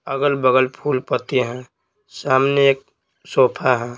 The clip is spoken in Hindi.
अगल-बगल फूलपति हैं सामने एक सोफा है।